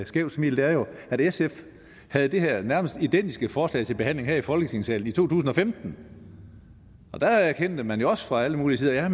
skævt smil er jo at sf havde det her nærmest identiske forslag til behandling her i folketingssalen i to tusind og femten og der erkendte man jo også fra alle mulige sider at